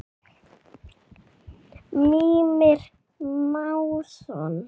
Mímir Másson.